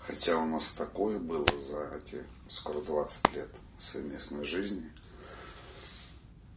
хотя у нас такое было за эти скоро двадцать лет совместной жизни